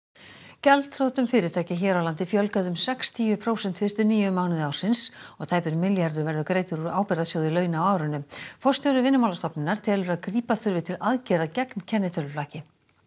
gjaldþrotum fyrirtækja hér á landi fjölgaði um sextíu prósent fyrstu níu mánuði ársins og tæpur milljarður verður greiddur úr ábyrgðarsjóði launa á árinu forstjóri Vinnumálastofnunar telur að grípa þurfi til aðgerða gegn kennitöluflakki